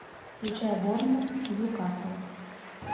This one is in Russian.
включай борнмут ньюкасл